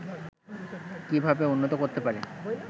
কিভাবে উন্নত করতে পারে